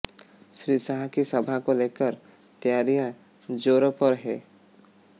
श्री शाह की सभा को लेकर तैयारियां जोरों पर हैं